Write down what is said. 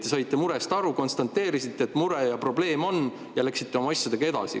Te saite murest aru, konstateerisite, et mure ja probleem on, ja läksite oma asjadega edasi.